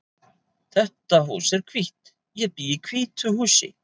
Þetta hús er hvítt. Ég bý í hvítu húsi.